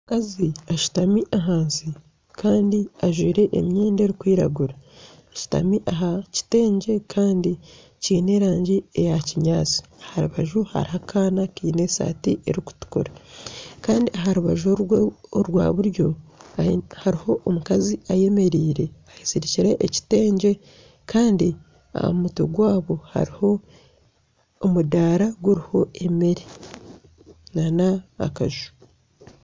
Omukazi ashutami ahansi kandi ajwire emyenda erikwiragura, ashutami aha kiteegye kandi kiine erangi eya kinyaatsi aha rubaju hariho akaana kaine eshaati erikutukura kandi aha rubaju orwa buryo hariho omukazi ayemereire eyezirikire ekiteegye kandi aha mutwe gwabo hariho omudaara guriho emeere nana akaju